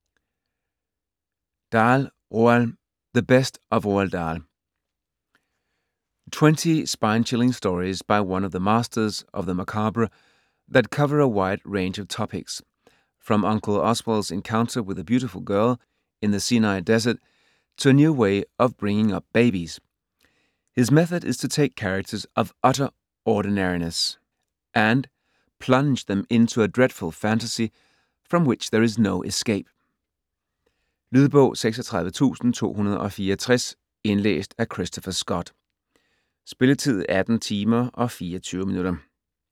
Dahl, Roald: The best of Roald Dahl Twenty spine-chilling stories by one of the masters of the macabre that cover a wide range of topics, from Uncle Oswald's encounter with a beautiful girl in the Sinai Desert to a new way of bringing up babies. His method is to take characters of utter ordinariness and plunge them into a dreadful fantasy from which there is no escape. Lydbog 36264 Indlæst af Christopher Scott. Spilletid: 18 timer, 24 minutter.